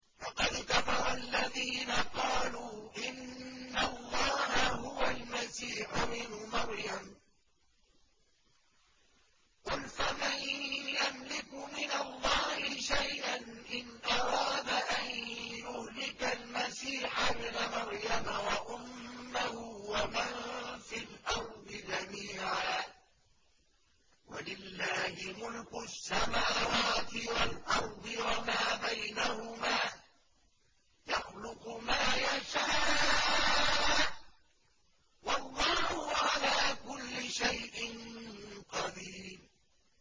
لَّقَدْ كَفَرَ الَّذِينَ قَالُوا إِنَّ اللَّهَ هُوَ الْمَسِيحُ ابْنُ مَرْيَمَ ۚ قُلْ فَمَن يَمْلِكُ مِنَ اللَّهِ شَيْئًا إِنْ أَرَادَ أَن يُهْلِكَ الْمَسِيحَ ابْنَ مَرْيَمَ وَأُمَّهُ وَمَن فِي الْأَرْضِ جَمِيعًا ۗ وَلِلَّهِ مُلْكُ السَّمَاوَاتِ وَالْأَرْضِ وَمَا بَيْنَهُمَا ۚ يَخْلُقُ مَا يَشَاءُ ۚ وَاللَّهُ عَلَىٰ كُلِّ شَيْءٍ قَدِيرٌ